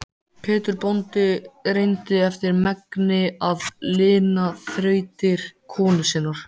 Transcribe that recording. Pétur bóndi reyndi eftir megni að lina þrautir konu sinnar.